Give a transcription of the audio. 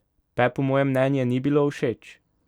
Pepu moje mnenje ni bilo všeč?